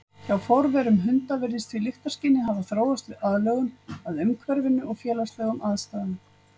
Hjá forverum hunda virðist því lyktarskynið hafa þróast við aðlögun að umhverfinu og félagslegum aðstæðum.